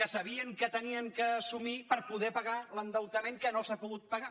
que sabien que havien d’assumir per poder pagar l’endeutament que no s’ha pogut pagar